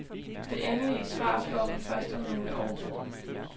Det endelige svar får vi først om nogle år.